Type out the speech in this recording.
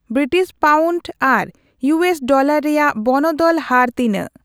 British pound ᱟᱨ US dollar ᱨᱮᱭᱟᱜ ᱵᱚᱱᱚᱫᱚᱞ ᱦᱟᱨ ᱛᱤᱱᱟᱹᱜ